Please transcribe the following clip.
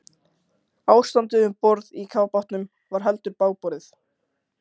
Ástandið um borð í kafbátnum var heldur bágborið.